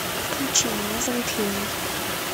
включи меня зовут ленни